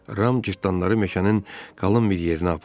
Ram cırtdanları meşənin qalın bir yerinə apardı.